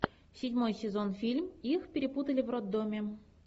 седьмой сезон фильм их перепутали в роддоме